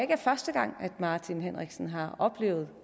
er første gang herre martin henriksen har oplevet